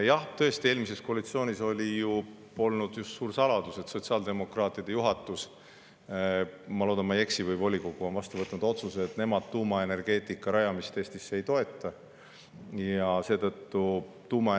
Jah, tõesti, eelmises koalitsioonis polnud just suur saladus, et sotsiaaldemokraatide juhatus – ma loodan, et ma ei eksi – või volikogu on vastu võtnud otsuse, et nemad tuumaenergeetika Eestis ei toeta.